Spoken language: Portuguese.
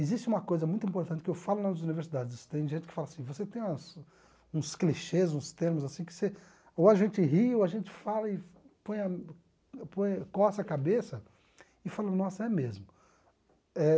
Existe uma coisa muito importante que eu falo nas universidades, tem gente que fala assim, você tem uns uns clichês, uns termos assim que você, ou a gente ri, ou a gente fala e põe a põe e coça a cabeça e fala, nossa, é mesmo.